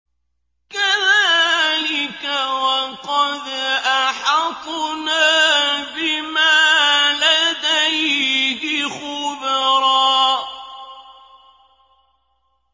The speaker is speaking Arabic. كَذَٰلِكَ وَقَدْ أَحَطْنَا بِمَا لَدَيْهِ خُبْرًا